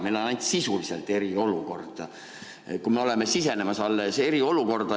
Meil on ainult sisuliselt eriolukord, kui me oleme alles sisenemas eriolukorda.